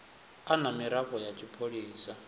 a na miraḓo ya tshipholisa